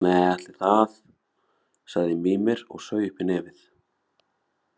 Nei, ætli það, sagði Mímir og saug upp í nefið.